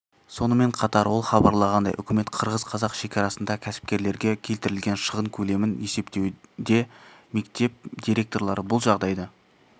сонымен қатар ол хабарлағандай үкімет қырғыз-қазақ шекарасында кәсіпкерлерге келтірілген шығын көлемін есептеуде мектеп директорлары бұл жағдайды